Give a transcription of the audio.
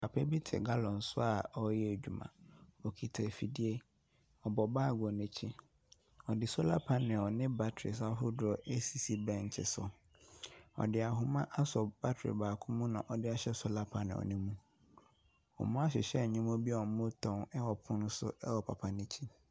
Papa bi te gallon so a ɔreyɛ adwuma, okita afidie, ɔbɔ baage wɔ n’akyi. Ɔde solar panrls ne batteries ahofoɔ asisi bɛnkye so. Ɔde ahoma aso battery baako mu na ɔde ahyɛ solar panel no mu. Wɔahyehyɛ nneɛma bi a wɔretɔn ɛwɔ pono bi so ɛwɔ papa no akyi.